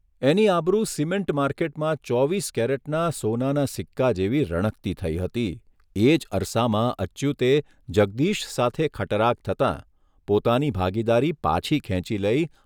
એની આબરૂ સિમેન્ટ માર્કેટમાં ચોવીસ કેરેટના સોનાના સિક્કા જેવી રણકતી થઇ હતી એ જ અરસામાં અચ્યુતે જગદીશ સાથે ખટરાગ થતા પોતાની ભાગીદારી પાછી ખેંચી લઇ